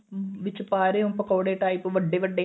ਵਿੱਚ ਪਾ ਰਹੇਂ ਓ ਪਕੋੜੇ type ਵੱਡੇ ਵੱਡੇ